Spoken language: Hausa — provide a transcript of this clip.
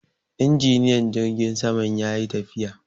Injiniyan jirgin saman ya yi tafiya.